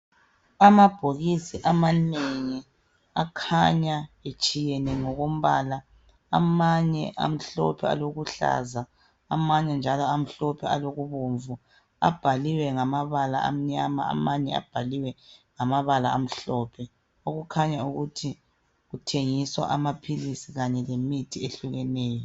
Amabhokisi amanengi akhanya etshiyeneyo ngokombala amanye amhlophe alokuhlaza amanye njalo amhlophe alokubomvu abhaliwe ngamabala amnyama amanye abhaliwe ngamabala amhlophe okukhanya ukuthi kuthengiswa amaphilisi Kanye lemithi ehlukeneyo